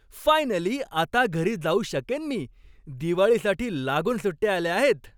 Finally आता घरी जाऊ शकेन मी. दिवाळीसाठी लागून सुट्ट्या आल्या आहेत.